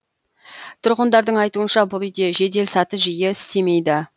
тұрғындардың айтуынша бұл үйде жеделсаты жиі істемейді